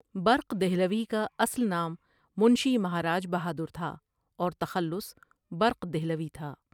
برق دہلوی کا اصل نام منشی مہاراج بہادر تھا اور تخلص برق دہلوی تھا ۔